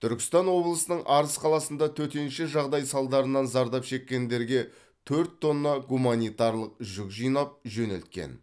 түркістан облысының арыс қаласында төтенше жағдай салдарынан зардап шеккендерге төрт тонна гуманитарлық жүк жинап жөнелткен